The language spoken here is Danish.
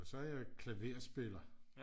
og så er jeg klaverspiller